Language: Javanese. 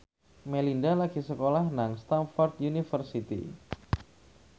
Melinda lagi sekolah nang Stamford University